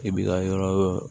I b'i ka yɔrɔ